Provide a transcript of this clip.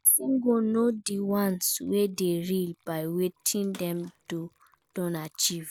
Persin go know di ones wey de real by wetin dem don achieve